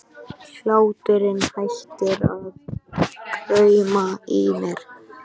Hláturinn hættir að krauma í mér.